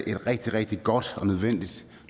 er et rigtig rigtig godt og nødvendigt